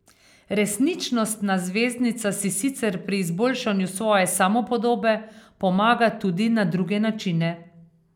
Resničnostna zvezdnica si sicer pri izboljšanju svoje samopodobe pomaga tudi na druge načine.